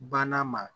Banna ma